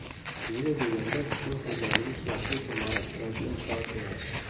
Nega deganda yo‘l xo‘jaligi yaxlit imorat yoki inshoot emas.